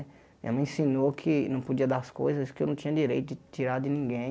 Minha mãe ensinou que não podia dar as coisas, que eu não tinha direito de tirar de ninguém.